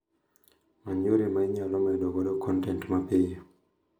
Many yore ma inyalo med godo kontent mapiyo